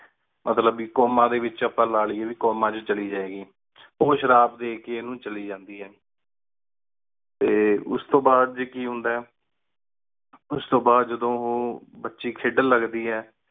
ਮਤ੍ਲਨ ਆਪਣਾ comma ਅਪਾ ਲਾ ਲਿਯ comma ਚਲੀ ਜੇ ਗੀ ਉਹੁ ਸ਼ਿਆਬ ਡੀ ਕੀ ਚਲੀ ਜਾਂਦੀ ਆਯ ਤੇ ਉਸ ਤੂੰ ਬਾਦ ਕੀ ਹੁੰਦਾ ਆਯ ਉਸ ਤੂੰ ਬਾਦ ਜਦੋ ਓ ਬਚੀ ਖੇਡਣ ਲਗ ਦੀ ਆਯ